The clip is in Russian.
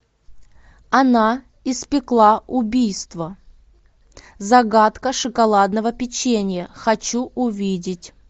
она испекла убийство загадка шоколадного печенья хочу увидеть